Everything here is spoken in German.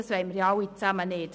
Das wollen wir alle nicht.